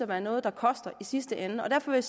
være noget der koster i sidste ende derfor vil